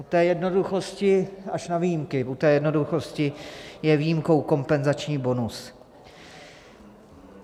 U té jednoduchosti - až na výjimky - u té jednoduchosti je výjimkou kompenzační bonus.